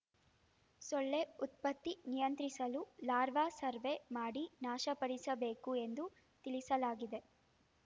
ಸೊಳ್ಳೆ ಉತ್ಪತ್ತಿ ನಿಯಂತ್ರಿಸಲು ಲಾರ್ವಾ ಸರ್ವೆ ಮಾಡಿ ನಾಶಪಡಿಸಬೇಕು ಎಂದು ತಿಳಿಸಲಾಗಿದೆ